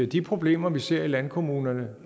de problemer vi ser i landkommunerne